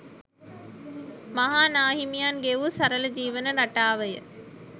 මහා නා හිමියන් ගෙවූ සරල, ජීවන රටාව ය.